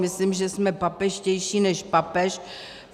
Myslím, že jsme papežštější než papež.